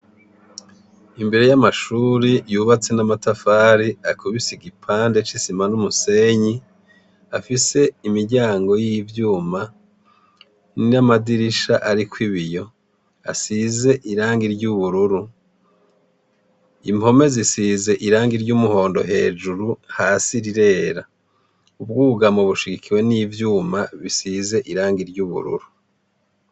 Imbere y'amashuri yubatse n'amatafari akubise igipande c'isima n'umusenyi afise imiryango y'ivyuma n'ir amadirisha, ariko ibiyo asize iranga iry'ubururu impome zisize iranga iry' umuhondo hejuru hasi irirera ubwougamo bushigikiwe n'ivyuma bisize iranga iry'ubururu.